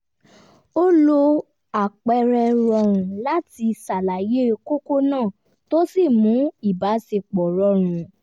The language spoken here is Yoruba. ó lo àpẹẹrẹ rọrùn láti ṣàlàyé kókó náà tó sì mú ìbáṣepọ̀ rọrùn